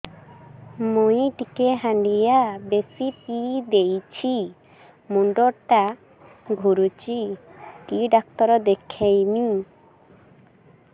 ମୁଇ ଟିକେ ହାଣ୍ଡିଆ ବେଶି ପିଇ ଦେଇଛି ମୁଣ୍ଡ ଟା ଘୁରୁଚି କି ଡାକ୍ତର ଦେଖେଇମି